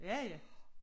Ja ja